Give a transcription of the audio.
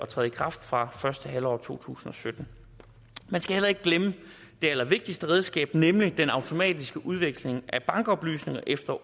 træde i kraft fra første halvår to tusind og sytten man skal heller ikke glemme det allervigtigste redskab nemlig den automatiske udveksling af bankoplysninger efter